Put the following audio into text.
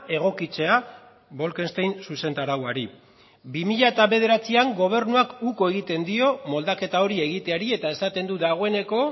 egokitzea bolkestein zuzentarauari bi mila bederatzian gobernuak uko egiten dio moldaketa hori egiteari eta esaten du dagoeneko